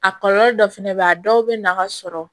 A kɔlɔlɔ dɔ fɛnɛ bɛ ye a dɔw bɛ nafa sɔrɔ